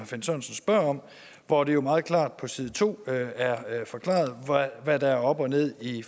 finn sørensen spørger om hvor det jo meget klart på side to er forklaret hvad der er op og ned i